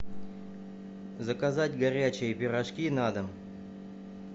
заказать горячие пирожки на дом